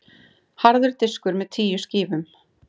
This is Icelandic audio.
Harður diskur með tíu skífum.